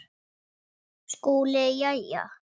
SKÚLI: Jæja!